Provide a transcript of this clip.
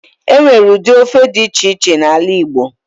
Enwere ụdị ofe dị iche iche n'ala igbo